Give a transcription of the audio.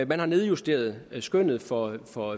man har nedjusteret skønnet for for